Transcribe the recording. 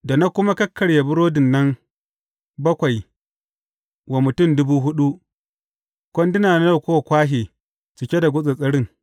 Da na kuma kakkarya burodin nan bakwai wa mutum dubu huɗu, kwanduna nawa kuka kwashe cike da gutsattsarin?